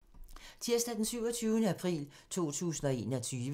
Tirsdag d. 27. april 2021